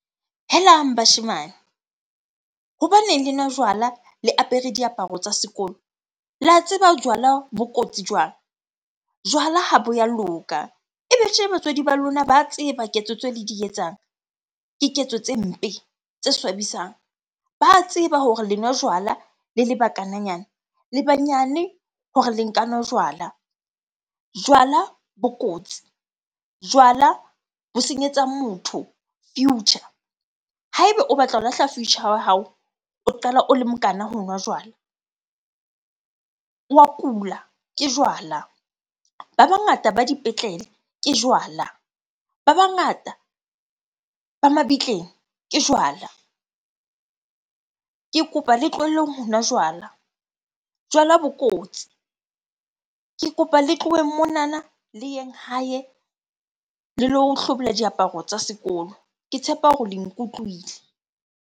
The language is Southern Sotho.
Helang bashemane! Hobaneng le nwa jwala le apere diaparo tsa sekolo? Le a tseba jwala bo kotsi jwang? Jwala ha bo ya loka. Ebe tje batswadi ba lona ba tseba ketso tse le di etsang? Ke ketso tse mpe, tse swabisang. Ba tseba hore le nwa jwala le le bakananyana. Le banyane hore le nka nwa jwala. Jwala bo kotsi, jwala bo senyetsa motho future. Ha ebe o batla ho lahla future wa hao, o qala o le mokana ho nwa jwala, wa kula ke jwala. Ba bangata ba dipetlele ke jwala, ba bangata ba mabitleng ke jwala. Ke kopa le tlohelleng ho nwa jwala, jwala bo kotsi. Ke kopa le tloheng monana le yeng hae le lo hlobola diaparo tsa sekolo. Ke tshepa hore le nkutlwile.